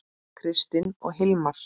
Kristin og Hilmar.